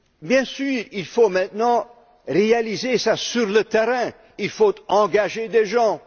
Bien sûr, il faut maintenant réaliser cela sur le terrain. Il faut engager des gens.